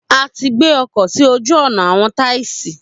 A ti gbé ọkọ̀ sí ojú-ọ̀nà àwọn taisí.